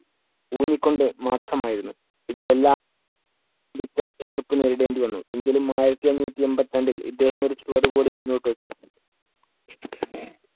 ഊന്നിക്കൊണ്ട് മാത്രം ആയിരുന്നു ഇതിലെല്ലാം വമ്പിച്ച എതിർപ്പ് നേരിടേണ്ടിവന്നു. എങ്കിലും ആയിരത്തി അഞ്ഞൂറ്റി എണ്‍പത്തി രണ്ടിൽ ഇദ്ദേഹം ഒരു ചുവടുകൂടി മുന്നോട്ടു വെച്ചു.